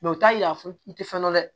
u t'a yira i tɛ fɛn dɔn dɛ